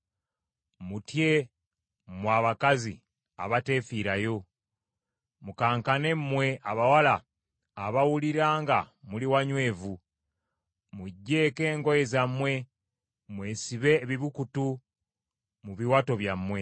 Mutye mmwe abakazi abateefiirayo, mukankane mmwe abawala abawulira nga muli wanywevu. Muggyeko engoye zammwe, mwesibe ebibukutu mu biwato byammwe.